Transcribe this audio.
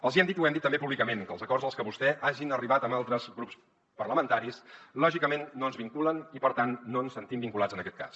els hi hem dit i ho hem dit també públicament que els acords als que vostès hagin arribat amb altres grups parlamentaris lògicament no ens vinculen i per tant no ens sentim vinculats en aquest cas